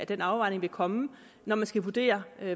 den afvejning vil komme når man skal vurdere